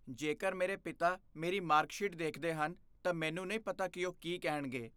ਜੇਕਰ ਮੇਰੇ ਪਿਤਾ ਮੇਰੀ ਮਾਰਕਸ਼ੀਟ ਦੇਖਦੇ ਹਨ, ਤਾਂ ਮੈਨੂੰ ਨਹੀਂ ਪਤਾ ਕਿ ਉਹ ਕੀ ਕਹਿਣਗੇ।